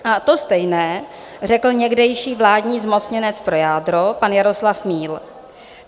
A to stejné řekl někdejší vládní zmocněnec pro jádro pan Jaroslav Míl.